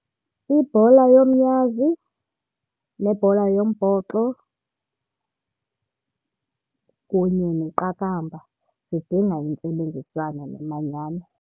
Ibhola yomnyazi nebhola yombhoxo kunye neqakamba zidinga intsebenziswano nomanyano.